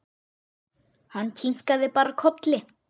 Hann kinkaði bara kolli.